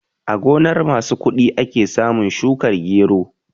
A gonar masu kuɗi ake samun shukar gero